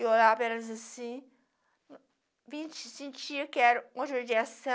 Eu olhava para elas assim, vim sentir que era uma judiação